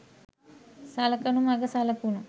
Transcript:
සලකනු මග සලකුණු